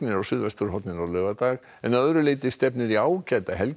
á suðvesturhorninu á laugardag en að öðru leyti stefnir í ágæta helgi